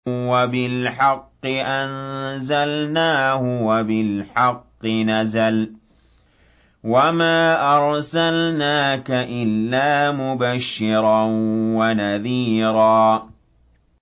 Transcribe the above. وَبِالْحَقِّ أَنزَلْنَاهُ وَبِالْحَقِّ نَزَلَ ۗ وَمَا أَرْسَلْنَاكَ إِلَّا مُبَشِّرًا وَنَذِيرًا